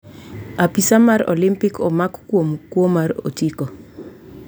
Apisaa mar olimpik omak kuom kwo mar otiko